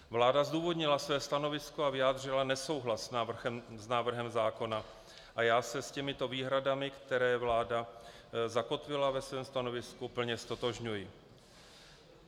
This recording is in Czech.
Vláda zdůvodnila své stanovisko a vyjádřila nesouhlas s návrhem zákona a já se s těmito výhradami, které vláda zakotvila ve svém stanovisku, plně ztotožňuji.